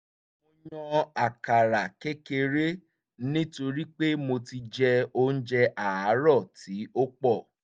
mo yan àkàrà kékeré nítorí pé mo ti jẹ oúnjẹ àárọ̀ tí ó pọ̀